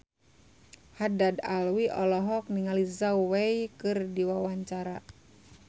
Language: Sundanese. Haddad Alwi olohok ningali Zhao Wei keur diwawancara